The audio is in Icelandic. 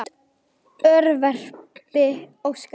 Þitt örverpi Óskar.